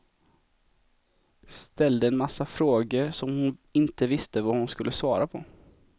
Ställde en massa frågor som hon inte visste vad hon skulle svara på.